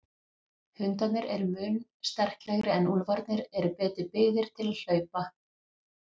Hundarnir eru mun sterklegri en úlfarnir eru betur byggðir til hlaupa.